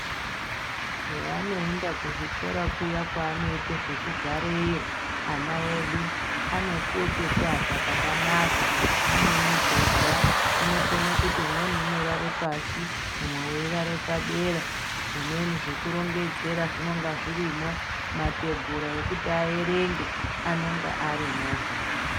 Peanoenda kuzvikora kuya kwaanoite zvekugareyo ana edu anopuwe pekuata pakanaka, mune mwibhedha inokone kuti umweni unorare pashi umwe weirare padera. Zvimweni zvekurongedzera zvinonga zvirimwo, matebhura ekuti aerenge anonga arimwohe.